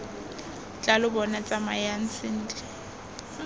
tla lo bona tsamayang sentle